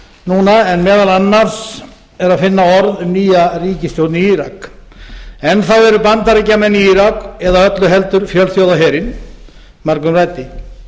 núna en meðal annars er að finna orð um nýja ríkisstjórn í írak enn þá eru bandaríkjamenn í írak eða öllu heldur fjölþjóðaherinn margumræddi látið